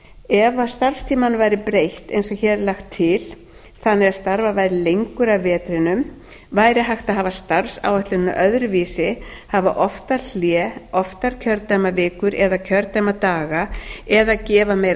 ef starfstímanum væri breytt eins og hér er lagt til þannig að starfað væri lengur að vetrinum væri hægt að hafa starfsáætlunina öðruvísi hafa oftar hlé oftar kjördæmavikur eða kjördæmadaga eða gefa meira